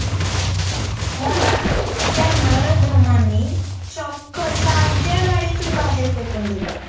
मला त्या नराधमांनी चक्क चालत्या गाडीतून बाहेर फेकून दिलं.